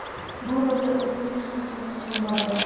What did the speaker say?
Bu rolga o‘zimning ham qiziqishim bor edi.